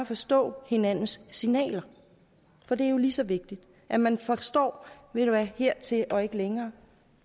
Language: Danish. forstå hinandens signaler for det er jo lige så vigtigt at man forstår hertil og ikke længere